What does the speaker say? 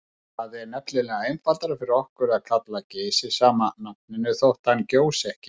Það er nefnilega einfaldara fyrir okkur að kalla Geysi sama nafninu þótt hann gjósi ekki.